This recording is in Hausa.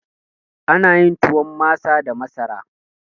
Ana yin tuwon masa da masara